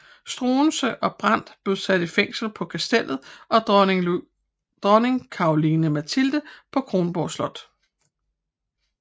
Struensee og Brandt blev sat i fængsel i Kastellet og dronning Caroline Mathilde på Kronborg Slot